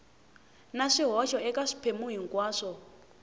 na swihoxo eka swiphemu hinkwaswo